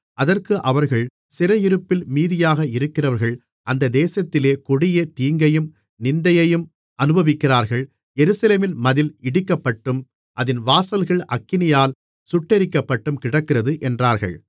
அதற்கு அவர்கள் சிறையிருப்பில் மீதியாக இருக்கிறவர்கள் அந்த தேசத்திலே கொடிய தீங்கையும் நிந்தையையும் அநுபவிக்கிறார்கள் எருசலேமின் மதில் இடிக்கப்பட்டும் அதின் வாசல்கள் அக்கினியால் சுட்டெரிக்கப்பட்டும் கிடக்கிறது என்றார்கள்